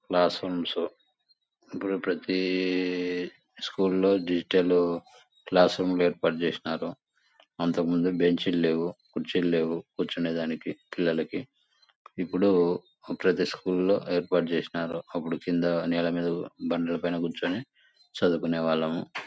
Classrooms ఇప్పుడు ప్రతి స్కూల్లో డిజిటల్ క్లాసురూమ్స్ ఏర్పాటు చేసినారు. అంతకముందు బెంచీలు లేవు. కూర్చులు లేవు. కూర్చునే దానికి పిల్లలకి ఇప్పుడు ప్రతి స్కూల్ లో ఏర్పాటు చేసినారు.అప్పుడు నీల మీద బండ్ల మీద కూర్చొని చదువుకునే వాళ్లము.